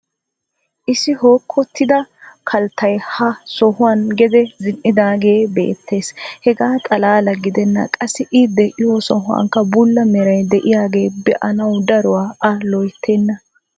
issi hookkotidda kalttay ha sohuwan gede zin'idaagee beetees. hegaa xalaala gidennan qassi i de'iyo sohuwankka bulla meray diyagee be'anawu daruwa a loyttena.